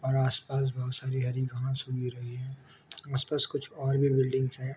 और आस पास बहुत सारी हरी घास उग रही है आस पास और भी कुछ बिल्डिंग्स है।